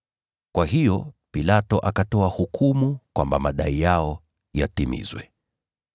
Kwa hiyo Pilato akatoa hukumu kwamba madai yao yatimizwe.